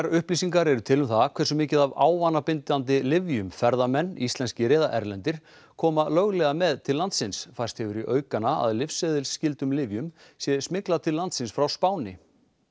upplýsingar eru til um það hversu mikið af ávanabindandi lyfjum ferðamenn íslenskir eða erlendir koma löglega með til landsins færst hefur í aukana að lyfseðilsskyldum lyfjum sé smyglað til landsins frá Spáni